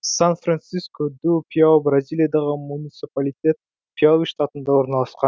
сан франсиску ду пиауи бразилиядағы муниципалитет пиауи штатында орналасқан